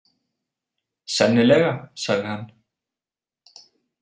Sennilega, sagði hann.